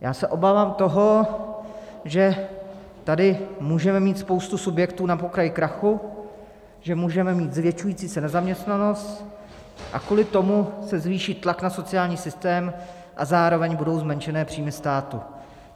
Já se obávám toho, že tady můžeme mít spoustu subjektů na pokraji krachu, že můžeme mít zvětšující se nezaměstnanost a kvůli tomu se zvýší tlak na sociální systém a zároveň budou zmenšené příjmy státu.